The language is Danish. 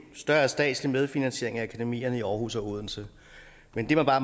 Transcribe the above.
større statslig medfinansiering af akademikerne i aarhus og odense men det man bare